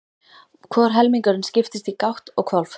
Hvor helmingurinn skiptist í gátt og hvolf.